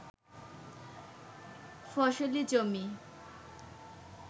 ফসলি জমি